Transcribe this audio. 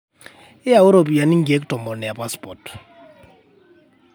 yauu ropiyani nkiek tomon e passport